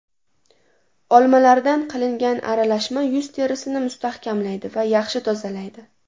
Olmalardan qilingan aralashma yuz terisini mustahkamlaydi va yaxshi tozalaydi.